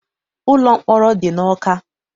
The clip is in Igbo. Ụlọ mkpọrọ dị n'Ọka.